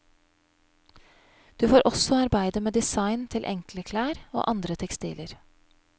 Du får også arbeide med design til enkle klær og andre tekstiler.